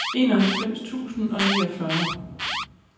enoghalvfems tusind og niogfyrre